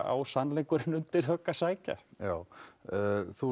á sannleikurinn undir högg að sækja já þú